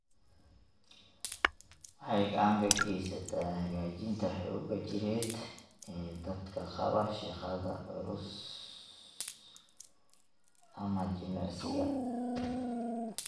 Waxay gacan ka geysataa hagaajinta xoogga jireed ee dadka qaba shaqada culus ama jimicsiga.